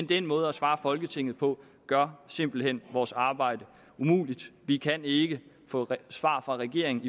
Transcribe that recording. den måde at svare folketinget på gør simpelt hen vores arbejde umuligt vi kan ikke få svar fra regeringen